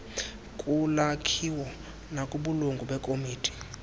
kulakhiwo nakubulungu lekomiti